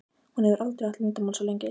Hún hefur aldrei átt leyndarmál svo lengi.